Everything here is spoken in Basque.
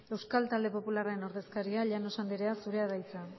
euskal talde popularraren ordezkaria llanos anderea zurea da hitza